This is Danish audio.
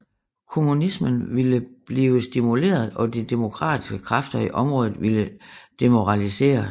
Kommunismen ville blive stimuleret og de demokratiske kræfter i området ville demoraliseres